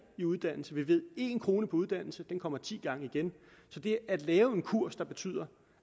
i uddannelse vi ved at én krone uddannelse kommer ti gange igen så det at lægge en kurs der betyder